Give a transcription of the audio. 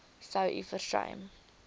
sou u versuim